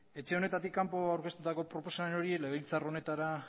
etxe honetatik kanpo aurkeztutako proposamen hori legebiltzar honetara